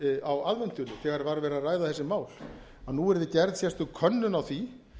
á aðventunni þegar var verið að ræða þessi mál að nú yrði gerð sérstök könnun á því